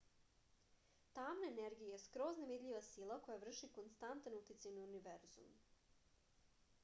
tamna energija je skroz nevidljiva sila koja vrši konstantan uticaj na univerzum